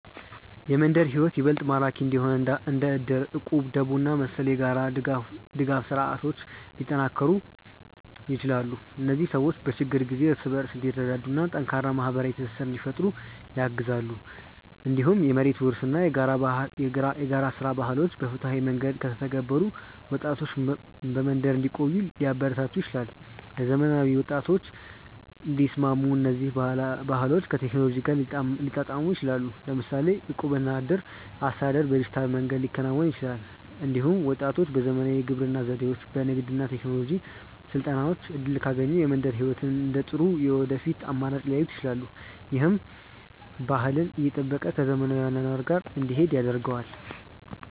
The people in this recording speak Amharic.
የመንደር ሕይወት ይበልጥ ማራኪ እንዲሆን እንደ እድር፣ እቁብ፣ ደቦ እና መሰል የጋራ ድጋፍ ስርዓቶች ሊጠናከሩ ይችላሉ። እነዚህ ሰዎች በችግር ጊዜ እርስ በርስ እንዲረዳዱ እና ጠንካራ ማህበራዊ ትስስር እንዲፈጥሩ ያግዛሉ። እንዲሁም የመሬት ውርስ እና የጋራ ሥራ ባህሎች በፍትሃዊ መንገድ ከተተገበሩ ወጣቶች በመንደር እንዲቆዩ ሊያበረታቱ ይችላሉ። ለዘመናዊ ወጣቶች እንዲስማሙ እነዚህ ባህሎች ከቴክኖሎጂ ጋር ሊጣጣሙ ይችላሉ። ለምሳሌ የእቁብ እና የእድር አስተዳደር በዲጂታል መንገድ ሊከናወን ይችላል። እንዲሁም ወጣቶች በዘመናዊ የግብርና ዘዴዎች፣ በንግድ እና በቴክኖሎጂ ስልጠናዎች እድል ካገኙ የመንደር ሕይወትን እንደ ጥሩ የወደፊት አማራጭ ሊያዩት ይችላሉ። ይህም ባህልን እየጠበቀ ከዘመናዊ አኗኗር ጋር እንዲሄድ ያደርገዋል።